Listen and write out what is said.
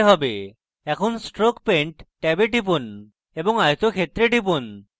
এখন stroke paint ট্যাবে টিপুন এবং আয়তক্ষেত্রে টিপুন